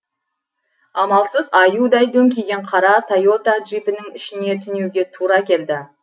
амалсыз аюдай дөңкиген қара тойота джипінің ішіне түнеуге тура келді